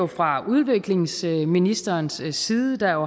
fra udviklingsministerens side der